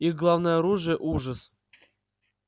их главное оружие ужас